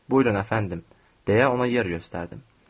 Buyurun əfəndim, deyə ona yer göstərdim.